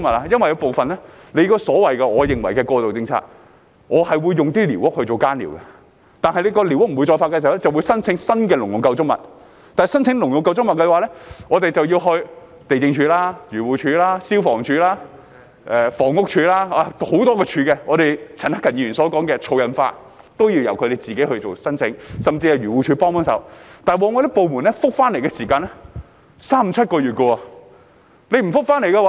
因為在我認為的過渡政策下，我會用寮屋作耕寮，但既然當局不再批予寮屋牌照，我就會申請興建新的農用構築物，但申請興建農用構築物，便要前往地政總署、漁農自然護理署、消防處及房屋署，有很多"署"——正如陳克勤議員形容的"儲印花"一樣——都要自行申請，甚至需要漁護署協助，但部門的回覆往往需時三五七個月；沒有回覆的話......